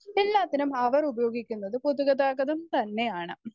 Speaker 1 എല്ലാത്തിനും അവർ ഉപയോഗിക്കുന്നത് പൊതുഗതാഗതം തന്നെയാണ്.